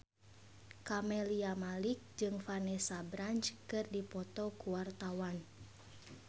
Camelia Malik jeung Vanessa Branch keur dipoto ku wartawan